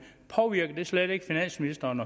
påvirker det slet ikke finansministeren